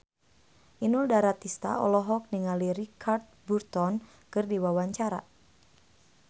Inul Daratista olohok ningali Richard Burton keur diwawancara